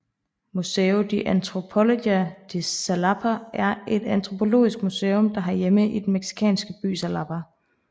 Museo de Antropologia de Xalapa er et antropologisk museum der har hjemme i den mexicansk by Xalapa